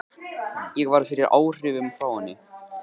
Ég varð fyrir áhrifum frá henni.